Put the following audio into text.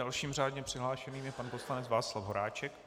Dalším řádně přihlášeným je pan poslanec Václav Horáček.